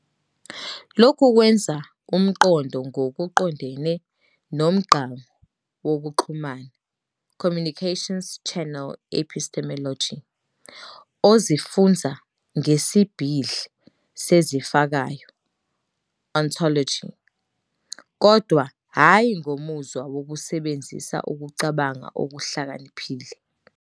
Lokhu kwenza umqondo ngokuqondene nomgqangu wokuxhumana "communications-channel, epistemology" ozifunza ngesibhidli sezifako, ontology, kodwa hhayi ngomuzwa wokusebenzisa ukucabanga okuhlakaniphile.